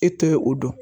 E tɛ ye o don